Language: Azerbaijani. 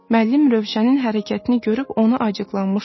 Müəllim Rövşənin hərəkətini görüb ona acıqlanmışdı.